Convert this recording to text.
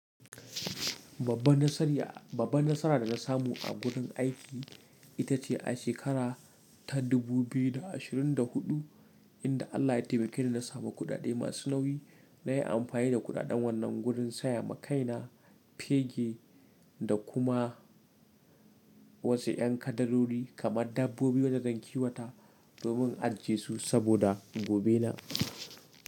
Babban nasara da na samu a wurin aiki, ita ce a shekara ta 2024, inda Allah ya taimake ni na samu kuɗaɗe masu nauyi. Na yi amfani da kuɗaɗan wannan wurin saya makaina, fegi da kuma, wasu ƴan kadarori kamar dabbobi wajen gankiwata, domin ajesu saboda, gobe na.